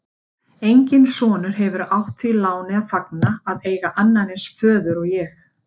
Enginn sonur hefur átt því láni að fagna að eiga annan eins föður og ég.